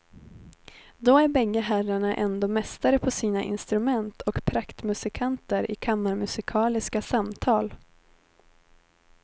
Då är bägge herrarna ändå mästare på sina instrument och praktmusikanter i kammarmusikaliska samtal.